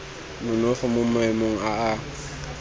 nonofo mo maemong a a